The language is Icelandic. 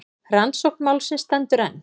Rannsókn málsins stendur enn.